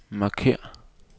markér